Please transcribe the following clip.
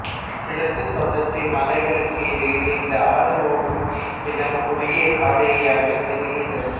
கிழக்கு தொடர்ச்சி மலைகளுக்கு இடையில் இந்த ஆறு ஓடும் இடம் குறுகிய பாதையாகத் தெரிகிறது